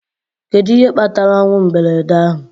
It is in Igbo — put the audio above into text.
Kedu ihe kpatara ọnwụ mberede ahụ